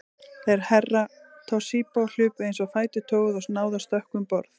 Þeir Herra Toshizo hlupu eins og fætur toguðu og náðu að stökkva um borð.